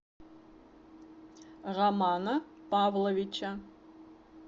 романа павловича